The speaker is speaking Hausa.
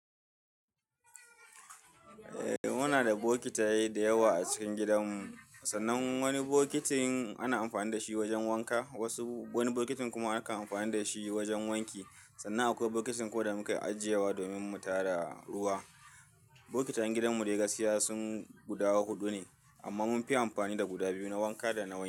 Eh muna da bokitaye dayawa a cikin gidanmu, sannan wani bokitin ana amfani da shi wajen wanka, wasu wani bokitin kuma aka amfani da shi wajen wanki. Sannan akwai bokitin ko da mukan ajiye wa domin mu tara ruwa. Bokitayen gidanmu dai gaskiya sun guda huɗu ne amma mun fi amfani da guda biyu, na wanka da na wanki.